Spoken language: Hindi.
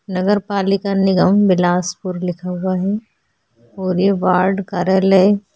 नगर पालिका निगम बिलासपुर लिखा हुआ है पूरे वार्ड कार्यालय --